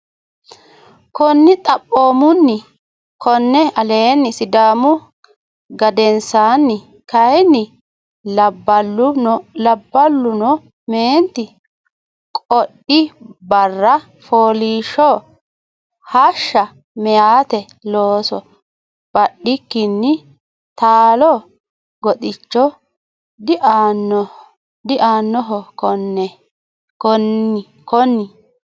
Konni Xaphoomunni konni aleenni Sidaamu gedensaanni kayinni labballuno meenti qoodi barra fooliishsho hashsha meyate looso badikkinni taalo goxicho diaannoho Konni.